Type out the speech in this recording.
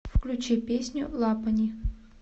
включи песню лапони